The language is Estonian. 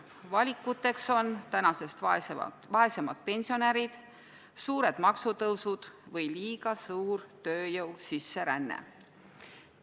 Valikuteks on praegusest vaesemad pensionärid, suured maksutõusud või liiga suur tööjõu sisseränne.